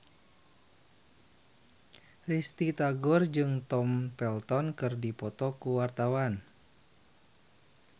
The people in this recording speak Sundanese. Risty Tagor jeung Tom Felton keur dipoto ku wartawan